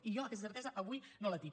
i jo aquesta certesa avui no la tinc